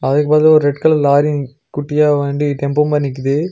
அதுக்கு பக்கத்துல ஒரு ரெட் கலர் லாரி குட்டியா வண்டி டெம்போ மாரி நிக்குது.